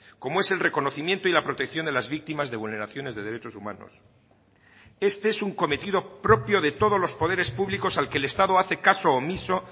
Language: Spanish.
como es el reconocimiento y la protección de las víctimas de vulneraciones de derechos humanos este es un cometido propio de todos los poderes públicos al que el estado hace caso omiso